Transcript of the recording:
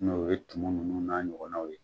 N'o ye tumu nunnu n'a ɲɔgɔnnaw ye